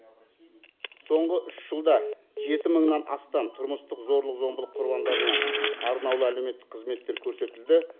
соңғы үш жылда жеті мыңнан астам тұрмыстық зорлық зомбылық құрбандарына арнаулы әлеуметтік қызметтер көрсетілді